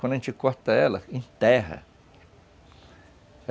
Quando a gente corta ela, enterra.